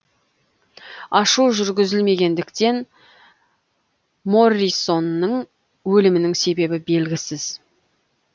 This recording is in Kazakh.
ашу жүргізілмегендіктен моррисонның өлімінің себебі белгісіз